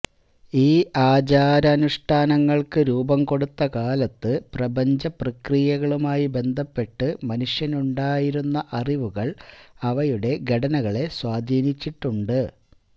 ഈ ആചാരാനുഷ്ഠാനങ്ങള്ക്കു രൂപം കൊടുക്കുന്ന കാലത്ത് പ്രപഞ്ചപ്രക്രിയകളുമായി ബന്ധപ്പെട്ട് മനുഷ്യനുണ്ടായിരുന്ന അറിവുകള് അവയുടെ ഘടനകളെ സ്വാധീനിച്ചിട്ടുണ്ട്